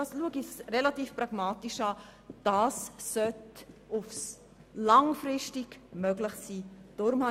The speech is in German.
Es scheint mir, dass dies langfristig möglich sein sollte.